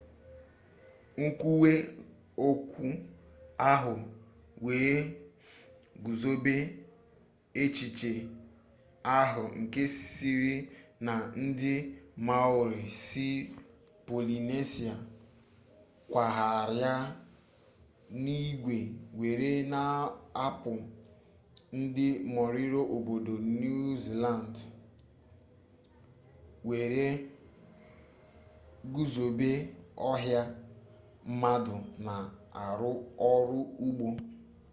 nkwuwe okwu ahụ wee guzobe exhiche ahụ nke sịrị na ndị maori si polinesia kwagharịa n'igwe were n'apụ ndị moriori obodo niu ziland were guzobe ọha mmadụ na-arụ ọrụ ugbo